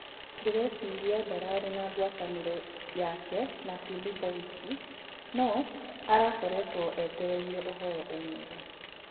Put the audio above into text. Ndĩreeciria ndararĩ na ngwatanĩro yake na Philipo wiki no arakoretwo etereire ũhoro umĩre.